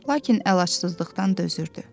Lakin əlacsızlıqdan dözürdü.